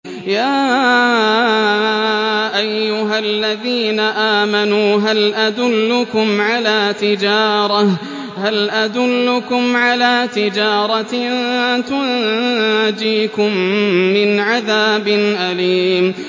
يَا أَيُّهَا الَّذِينَ آمَنُوا هَلْ أَدُلُّكُمْ عَلَىٰ تِجَارَةٍ تُنجِيكُم مِّنْ عَذَابٍ أَلِيمٍ